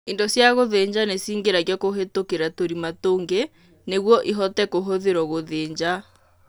Indo cia gũthĩnja nĩ cingĩragio kũhĩtũkĩra tũrĩma tũngĩ nĩguo ihote kũhũthĩrwo gũthĩnja.